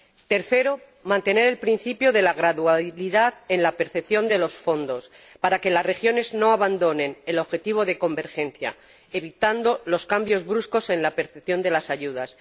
tercero, mantener el principio de la gradualidad en la percepción de los fondos, para que las regiones no abandonen el objetivo de convergencia, evitando los cambios bruscos en la percepción de las ayudas